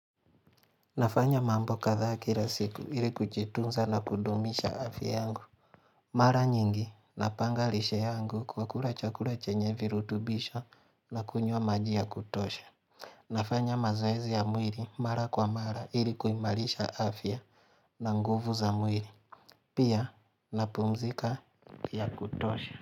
Nafanya mambo kadhaa kila siku ili kujitunza na kudumisha afya yangu. Mara nyingi napanga lishe yangu kwa kula chakula chenye virutubisho na kunywa maji ya kutosha. Nafanya mazoezi ya mwiri mara kwa mara ili kuimarisha afya na nguvu za mwiri. Pia napumzika ya kutosha.